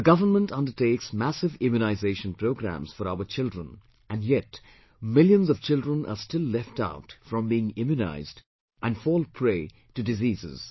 The government undertakes massive immunization programs for our children and yet millions of children are still left out from being immunized and fall prey to diseases